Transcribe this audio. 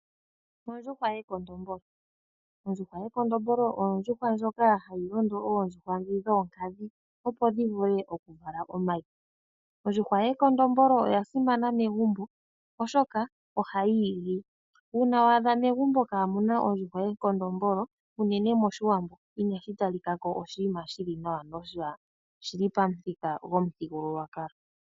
Ondjuhwa yekondombolo Ondjuhwa yekondombolo oyo ondjuhwa ndjoka hayi londo oondjuhwa dhi dhoonkadhi opo dhi vule okuvala omayi. Ondjuhwa yekondombolo oya simana megumbo oshoka ohayi igi. Uuna wa adha megumbo kaamuna ondjuhwa yekondombolo uunene moshiwambo inashi talika ko oshinima shili nawa noshili pamuthika gopamuthigululwakalo.